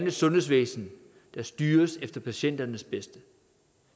et sundhedsvæsen der styres til patienternes bedste